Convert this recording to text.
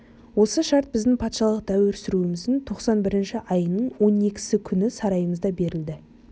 осы шарт біздің патшалық дәуір сүруіміздің тоқсан бірінші айының он екісі күні сарайымызда берілді